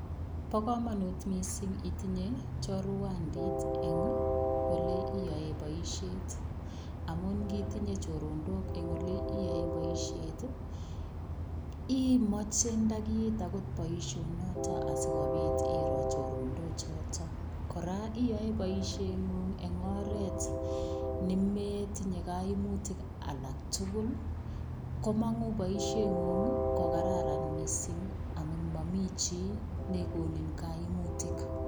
Bokomonut mising itinye chorwandit en oleyoen boishet amuun ngitinye choronok eng' olee iyoen boishet imoche ndakiit akot boishonoto sikobit iroo choronok choton, kora iyoe boisheng'ung en oreet nemetinye koimutik alak tukul, komong'u boisheng'ung ko kararan mising amun momii chii nekonin kaimutik.